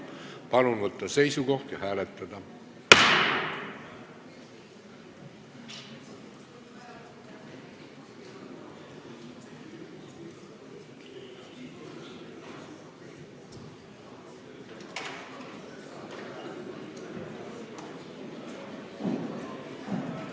Palun võtta seisukoht ja hääletada!